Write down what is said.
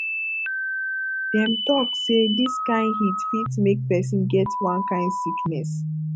dem tok sey dis kain heat fit make pesin get one kain sickness